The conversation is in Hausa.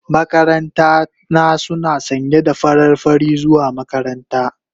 Makaranta na suna sanye da farar fari zuwa makaranta.